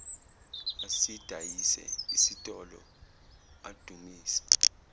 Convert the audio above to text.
asidayise isitolo adumise